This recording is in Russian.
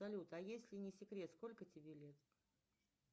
салют а если не секрет сколько тебе лет